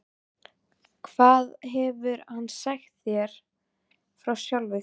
Hvað hefur hann sagt þér frá sjálfum sér?